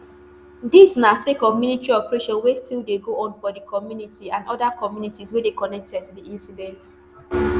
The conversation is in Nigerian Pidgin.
dis na sake of military operation wey still dey go on for di community and oda communities wey dey connected to di incident